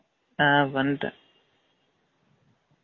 on வன்டேன்